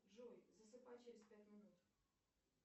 джой засыпай через пять минут